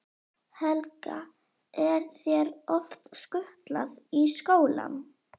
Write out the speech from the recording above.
Helga: Er þér oft skutlað í skólann?